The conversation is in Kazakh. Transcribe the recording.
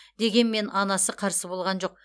дегенмен анасы қарсы болған жоқ